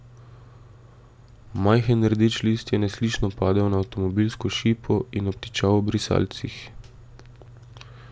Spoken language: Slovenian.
Majhen rdeč list je neslišno padel na avtomobilsko šipo in obtičal ob brisalcih.